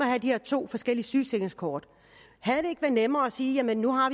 have de her to forskellige sygesikringskort havde det ikke være nemmere at sige at nu har